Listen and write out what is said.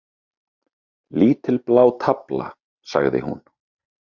Lítil blá tafla, sagði hún.